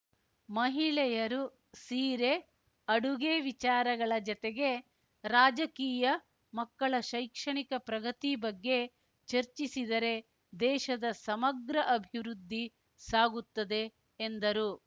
ಮಹಿಳೆಯರು ಸೀರೆ ಅಡುಗೆ ವಿಚಾರಗಳ ಜತೆಗೆ ರಾಜಕೀಯ ಮಕ್ಕಳ ಶೈಕ್ಷಣಿಕ ಪ್ರಗತಿ ಬಗ್ಗೆ ಚರ್ಚಿಸಿದರೆ ದೇಶದ ಸಮಗ್ರ ಅಭಿವೃದ್ಧಿ ಸಾಗುತ್ತದೆ ಎಂದರು